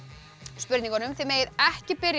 spurningunum þið megið ekki byrja